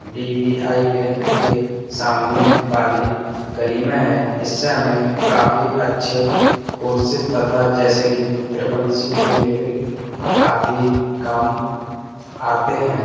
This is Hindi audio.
डी वी आई बैंक के सामने वाली गली में है। इससे हमें काफी अच्छे कोर्सेस तथा जैसे की ट्रिपल सी ओ लेवल आदि काम आते हैं।